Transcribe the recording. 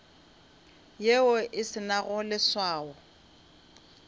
yeo e se nago leswao